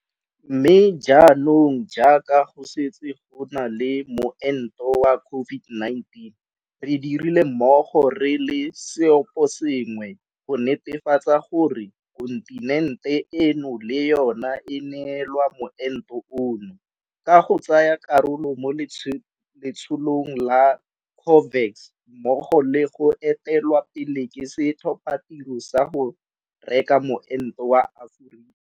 Mme jaanong jaaka go setse go na le moento wa CO-VID-19, re dirile mmogo re le seoposengwe go netefatsa gore kontinente eno le yona e neelwa moento ono, ka go tsaya karolo mo Letsholong la COVAX mmogo le go etelelwa pele ke Setlhophatiro sa go Reka Moento wa Aforika.